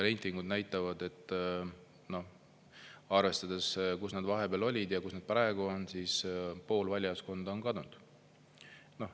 Reitingud näitavad, et arvestades, kus nad vahepeal olid ja kus nad praegu on, siis pool valijaskond on kadunud.